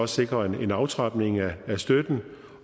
sikrer en aftrapning af støtten